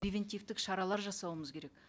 превентивтік шаралар жасауымыз керек